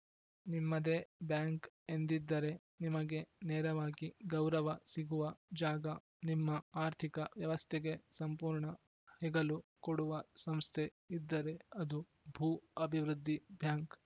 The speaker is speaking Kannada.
ನಿಮ್ಮದೆ ಬ್ಯಾಂಕ್‌ ಎಂದಿದ್ದರೆ ನಿಮಗೆ ನೇರವಾಗಿ ಗೌರವ ಸಿಗುವ ಜಾಗ ನಿಮ್ಮ ಆರ್ಥಿಕ ವ್ಯವಸ್ಥೆಗೆ ಸಂಪೂರ್ಣ ಹೆಗಲು ಕೊಡುವ ಸಂಸ್ಥೆ ಇದ್ದರೆ ಅದು ಭೂ ಅಭಿವೃದ್ದಿ ಬ್ಯಾಂಕ್‌